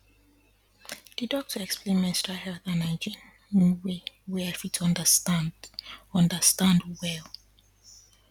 the doctor explain menstrual health and hygiene in way wey i fit understand understand well